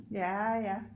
Ja ja